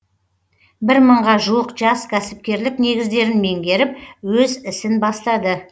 бір мыңға жуық жас кәсіпкерлік негіздерін меңгеріп өз ісін бастады